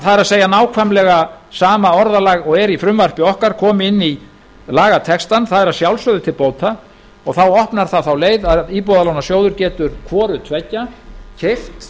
það er nákvæmlega sama orðalag og er í frumvarpi okkar komi inn í lagatextann það er að sjálfsögðu til bóta og þá opnar það þá leið að íbúðalánasjóður getur hvorutveggja keypt